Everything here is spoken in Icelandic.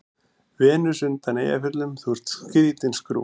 Venus undan Eyjafjöllum:- Þú ert skrýtin skrúfa.